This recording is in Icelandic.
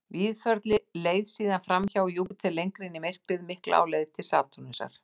Víðförli leið síðan fram hjá Júpíter lengra út í myrkrið mikla á leið til Satúrnusar.